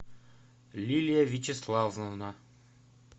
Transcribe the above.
лилия вячеславовна